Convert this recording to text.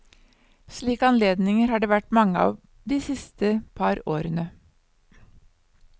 Slike anledninger har det vært mange av de siste par årene.